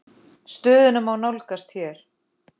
Stöðuna má nálgast hér.